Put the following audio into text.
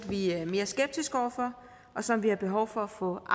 vi er mere skeptiske over for og som vi har behov for at få